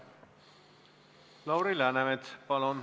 Lauri Läänemets, palun!